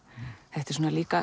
þetta er líka